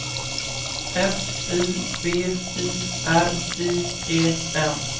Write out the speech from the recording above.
S I B I R I E N